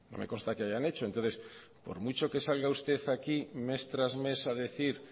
me consta que hayan hecho entonces por mucho que salga usted aquí mes tras mes a decir